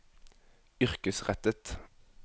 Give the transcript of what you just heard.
yrkesrettet